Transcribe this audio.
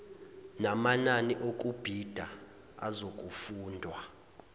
namanani okubhida azokufundwa